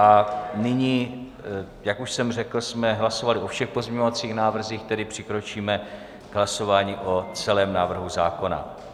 A nyní jak už jsem řekl, jsme hlasovali o všech pozměňovacích návrzích, tedy přikročíme k hlasování o celém návrhu zákona.